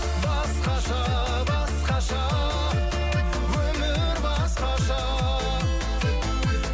басқаша басқаша өмір басқаша